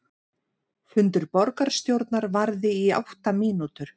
Fundur borgarstjórnar varði í átta mínútur